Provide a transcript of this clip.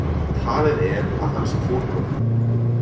Talið er að hann sé fótbrotinn